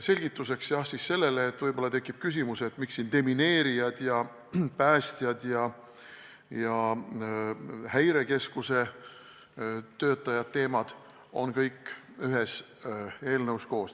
Selgituseks veel, kui võib-olla tekib küsimus, miks on siin demineerijate, päästjate ja Häirekeskuse töötajate teemad kõik ühes eelnõus koos.